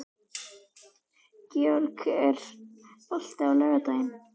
Georg, er bolti á laugardaginn?